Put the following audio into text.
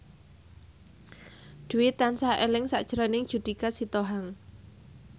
Dwi tansah eling sakjroning Judika Sitohang